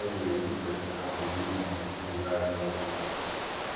bible dey teach pesin how to live um im life well